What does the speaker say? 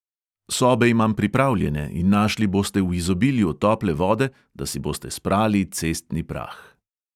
Sobe imam pripravljene in našli boste v izobilju tople vode, da si boste sprali cestni prah.